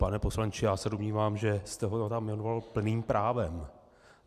Pane poslanče, já se domnívám, že jste ho tam jmenoval plným právem.